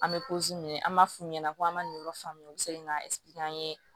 An bɛ an b'a f'u ɲɛna k'an ma nin yɔrɔ faamu u bɛ se k'an an ye